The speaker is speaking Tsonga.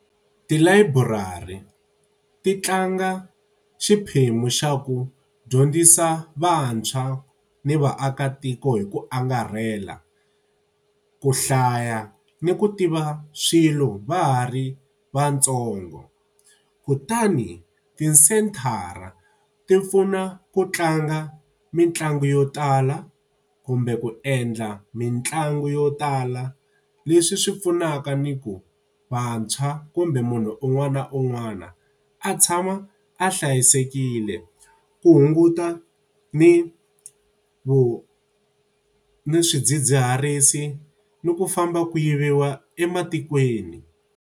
Tilayiburari ti tlanga xiphemu xa ku dyondzisa vantshwa ni vaakatiko hi ku angarhela, ku hlaya ni ku tiva swilo va ha ri vantsongo. Kutani tisenthara ti pfuna ku tlanga mitlangu yo tala kumbe ku endla mitlangu yo tala, leswi swi pfunaka ni ku vantshwa kumbe munhu un'wana na un'wana a tshama a hlayisekile ku hunguta ni ni swidzidziharisi ni ku famba ku yiviwa ematikweni.